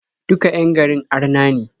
Duka 'yan garin arna ne.